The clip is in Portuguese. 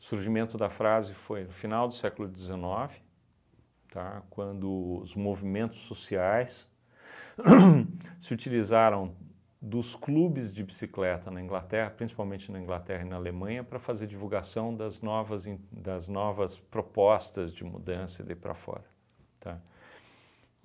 O surgimento da frase foi o final do século dezenove, tá, quando os movimentos sociais ham se utilizaram dos clubes de bicicleta na Inglaterra, principalmente na Inglaterra e na Alemanha, para fazer divulgação das novas en das novas propostas de mudança e daí para fora.